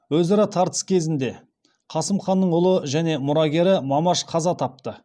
өзара тартыс кезінде қасым ханның ұлы және мұрагері мамаш қаза тапты